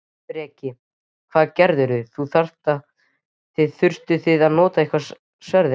Breki: Hvað gerðuði, þurftuð þið að nota eitthvað sverðin?